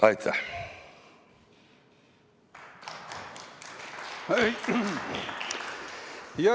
Aitäh!